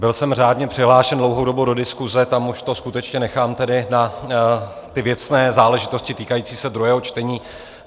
Byl jsem řádně přihlášen dlouhou dobu do diskuse, tam už to skutečně nechám tedy na ty věcné záležitosti týkající se druhého čtení.